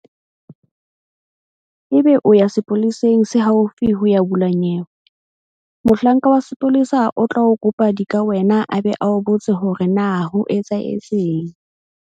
Ebe o ya sepoleseng se haufi ho ya bula nyewe. Mohlanka wa sepolesa o tla o kopa dikawena a be a o botse hore na ho etsahetseng.